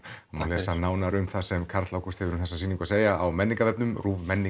má lesa nánar um það sem Karl Ágúst hefur um þessa sýningu að segja á